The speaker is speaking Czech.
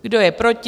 Kdo je proti?